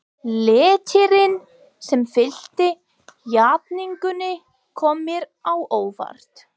Léttirinn sem fylgdi játningunni kom mér á óvart.